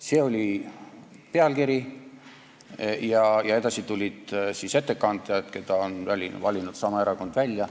See oli pealkiri ja edasi tulid siis ettekandjad, kelle on valinud välja seesama erakond.